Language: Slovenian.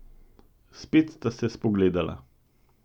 Spet sta se spogledala.